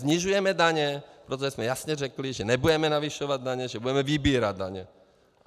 Snižujeme daně, protože jsme jasně řekli, že nebudeme navyšovat daně, že budeme vybírat daně.